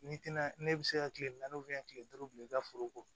N'i tɛna ne bɛ se ka kile naani tile duuru bila i ka foro kɔ